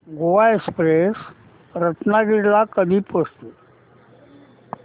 Goa express Ratnagiri ला कधी पोहचते